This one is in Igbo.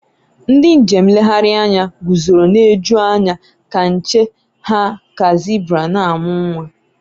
ndị njem nlegharị anya guzoro na-eju anya ka nche ha ka zebra na-amụ nwa